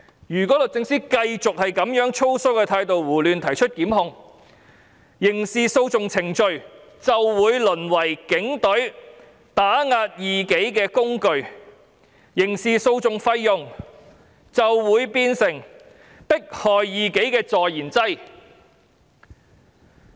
如果律政司繼續以粗疏的態度胡亂提出檢控，刑事訴訟程序便會淪為警隊打壓異己的工具，刑事訴訟費用便會變成迫害異己的助燃劑。